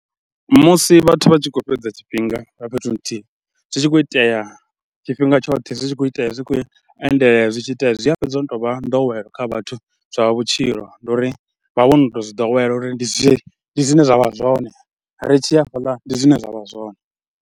Musi vhathu vha tshi khou fhedza tshifhinga nga fhethu nthihi, zwi tshi khou itea tshifhinga tshoṱhe, zwi tshi khou itea zwi khou endelela zwi tshi itea zwi a fhedza zwo no tou vha nḓowelo kha vhathu zwa vhutshilo. Ndi uri vha vho no tou zwi ḓowela uri ndi zwone zwine zwa vha zwone, ri tshi ya fhaḽa ndi zwine zwa vha zwone.